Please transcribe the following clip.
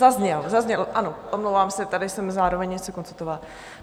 Zazněl - zazněl, ano, omlouvám se, tady jsem zároveň něco konstatovala.